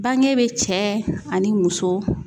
Bange be cɛ ani muso